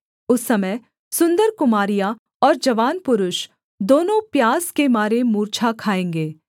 उस समय सुन्दर कुमारियाँ और जवान पुरुष दोनों प्यास के मारे मूर्छा खाएँगे